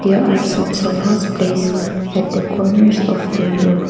there are some sofas place at the corners of the room.